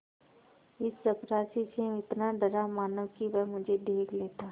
इस चपरासी से इतना डरा मानो कि वह मुझे देख लेता